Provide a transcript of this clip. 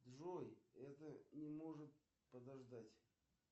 джой это не может подождать